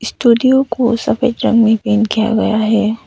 Studio को सफेद रंग में पेंट किया गया है।